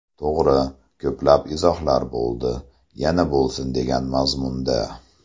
To‘g‘ri, ko‘plab izohlar bo‘ldi, yana bo‘lsin degan mazmunda.